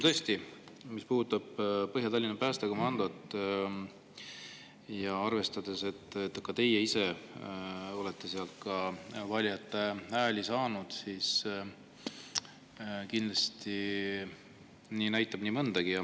Tõesti, mis puudutab Põhja-Tallinna päästekomandot, arvestades, et ka teie ise olete sealt valijate hääli saanud, siis kindlasti näitab see nii mõndagi.